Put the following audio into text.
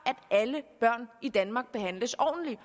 at alle børn i danmark behandles ordentligt